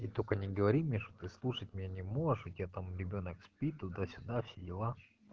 и только не говори мне что ты слушать меня не можешь у тебя там ребёнок спит туда-сюда все дела